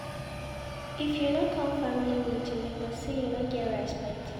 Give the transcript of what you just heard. If you no come family meeting, dem go say you no get respect.